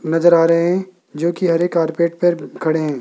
नजर आ रहे हैं जो कि हरे कार्पेट पर खड़े हैं।